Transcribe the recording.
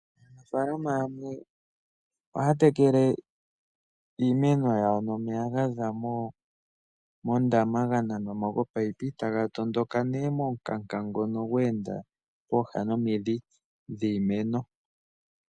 Aanafaalama yamwe ohaa tekela iimeno yawo nomeya ngono gaza moondama ga nanwa mo kominino. Oha ga tondoka nduno momikanka ndhoka dhe enda pooha nomidhi dhiimeno.